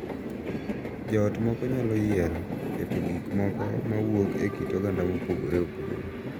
Jo ot moko nyalo yiero keto gik moko ma wuok e kit oganda mopogore opogore,